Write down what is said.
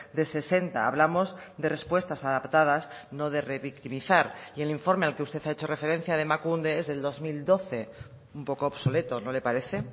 de sesenta hablamos de respuestas adaptadas no de revictimizar y el informe al que usted ha hecho referencia de emakunde es del dos mil doce un poco obsoleto no le parece